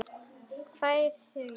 BJÖRN: Hvað eigið þér við?